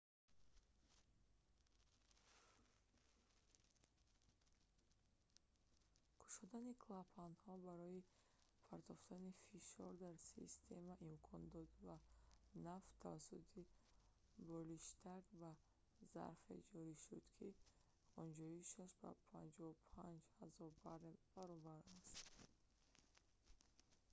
кушодани клапанҳо барои партофтани фишор дар система имкон дод ва нафт тавассути болиштак ба зарфе ҷорӣ шуд ки ғунҷоишаш ба 55 000 баррел 2,3 миллион галлон баробар аст